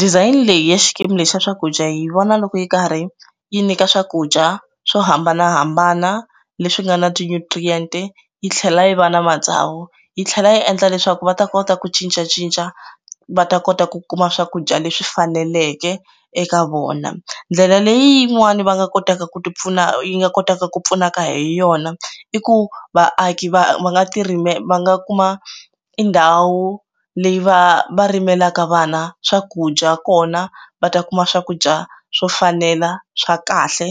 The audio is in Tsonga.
Design leyi ya xikimi lexi xa swakudya yi vona loko yi karhi yi nyika swakudya swo hambanahambana leswi nga na ti nutrients yi tlhela yi va na matsawu yi tlhela yi endla leswaku va ta kota ku cincacinca va ta kota ku kuma swakudya leswi faneleke eka vona ndlela leyi yin'wani va nga kotaka ku ti pfuna yi nga kotaka ku pfunaka hi yona i ku vaaki va nga ti rime va nga kuma i ndhawu leyi va va rimelaka vana swakudya kona va ta kuma swakudya swo fanela swa kahle